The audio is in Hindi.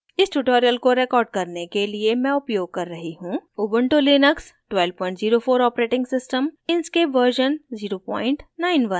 इस tutorial को record करने के लिए मैं उपयोग कर रही हूँ